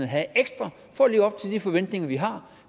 have ekstra for at leve op til de forventninger vi har